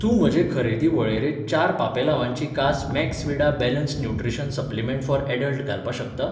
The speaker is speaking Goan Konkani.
तूं म्हजे खरेदी वळेरेंत चार पापलांवाची कास Maxvida balanced nutrition supplement for adult घालपाक शकता?